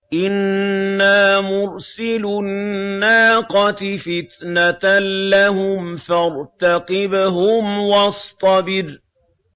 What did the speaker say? إِنَّا مُرْسِلُو النَّاقَةِ فِتْنَةً لَّهُمْ فَارْتَقِبْهُمْ وَاصْطَبِرْ